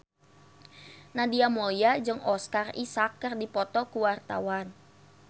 Nadia Mulya jeung Oscar Isaac keur dipoto ku wartawan